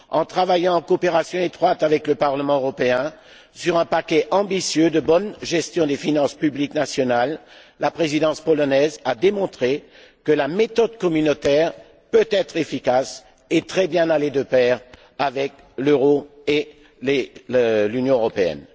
En travaillant en coopération étroite avec le Parlement européen sur un paquet ambitieux de bonne gestion des finances publiques nationales, la Présidence polonaise a démontré que la méthode communautaire peut être efficace et peut très bien aller de pair avec l'euro et l'Union européenne.